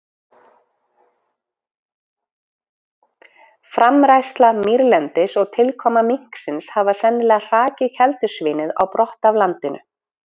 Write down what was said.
Framræsla mýrlendis og tilkoma minksins hafa sennilega hrakið keldusvínið á brott af landinu.